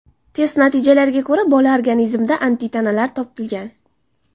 Test natijalariga ko‘ra bola organizmida antitanalar topilgan.